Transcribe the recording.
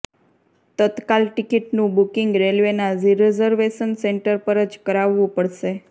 તત્કાલ ટિકિટનું બુકિંગ રેલવેના reservation centre પર જ કરાવવું પડશે